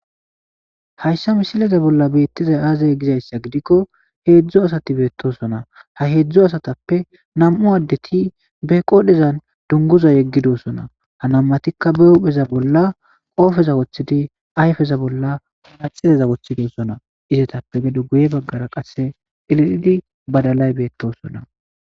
Haysa misileza bolla betizay aze gizausa gidiko hezhu asati betosona ha hezhu nam'u adeti be qodhezan dunguzo yegidosona ha nam'ati ba hupheza bolla qopeza wothidi ayfeza bolla manaxireza wothidi gidosonaizetape gefe guye bagara qase cililidi badalay betosona